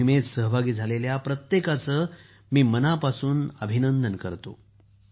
या मोहिमेत सहभागी झालेल्या प्रत्येकाचे मी मनापासून कौतुक करतो